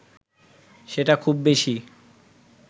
সেটা খুব বেশি